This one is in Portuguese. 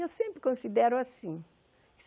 Eu sempre considero assim.